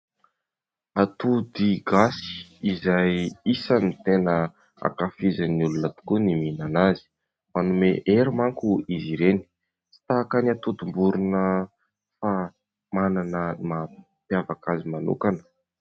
Atody gasy izay isany tena hankafizin'ny olona tokoa ny mihinana azy. Manome hery manko izy ireny tsy tahaka ny atodim-borona fa manana maha-mpiavaka azy manokana.